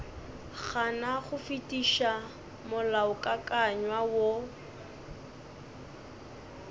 gana go fetiša molaokakanywa wo